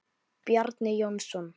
Bjarni Jónsson